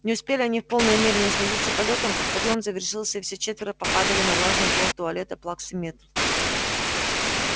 не успели они в полной мере насладиться полётом как подъём завершился и все четверо попадали на влажный пол туалета плаксы миртл